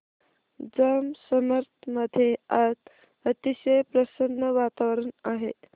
जांब समर्थ मध्ये आज अतिशय प्रसन्न वातावरण आहे